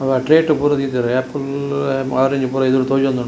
ಅವ ಟ್ರೇಟ್‌ ಪೂರೆ ದೀತೆರ್‌ ಆಪಲ್‌ ಆರೆಂಜ್ ಪೂರ‌ ಎದುರು ತೋಜೋಂದುಂಡು.